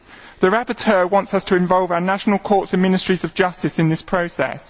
The rapporteur wants us to involve our national courts and ministries of justice in this process.